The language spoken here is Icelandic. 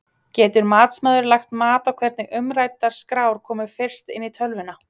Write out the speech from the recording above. Getur matsmaður lagt mat á hvernig umræddar skrár komu fyrst inn í tölvuna?